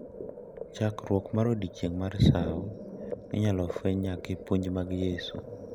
Chakruok mar Odiechieng’ mar Sawo inyalo fweny nyaka e puonj mag Yesu,